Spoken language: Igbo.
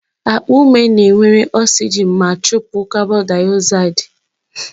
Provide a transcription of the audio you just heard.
Akpa ume na-ewere oxygen ma chụpụ carbondioxide